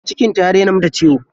Cikin ta ya dai na mata ciwo.